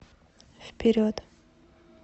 вперед